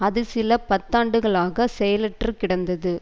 அது சில பத்தாண்டுகளாக செயலற்று கிடந்தது